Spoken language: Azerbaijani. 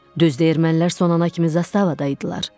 Düzdür, ermənilər sonuncu zastavada idilər.